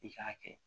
I k'a kɛ